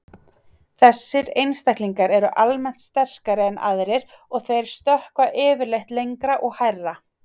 Þessir einstaklingar eru almennt sterkari en aðrir og þeir stökkva yfirleitt lengra og hærra.